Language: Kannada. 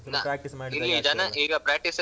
ಸ್ವಲ್ಪ practice ಮಾಡಿದ ಹಾಗೆ ಆಗ್ದಲ್ಲಾ.